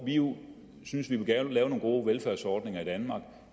vi jo synes vi gerne vil lave nogle gode velfærdsordninger i danmark og